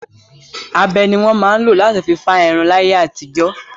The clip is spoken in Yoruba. Abẹ ni wọn máa ń lọ látí fi fá irun láyé àtijọ́.